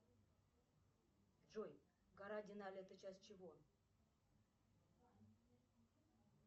джой гора денали это часть чего